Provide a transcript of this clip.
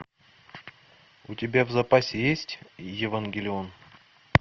у тебя в запасе есть евангелион